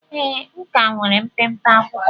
Ee, m ka nwere mpempe akwụkwọ